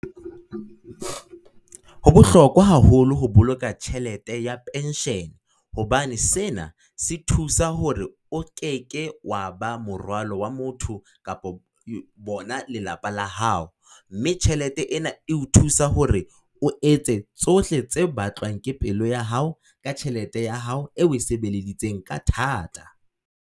Ho bohlokwa haholo ho boloka tjhelete ya penshene, hobane sena se thusa hore o keke wa ba morwalo wa motho kapo bona lelapa la hao. Mme tjhelete ena e ho thusa hore o etse tsohle tse batlwang ke pelo ya hao, ka tjhelete ya hao e o e sebeleditseng ka thata.